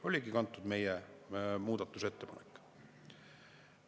Sellest oligi kantud meie muudatusettepanek.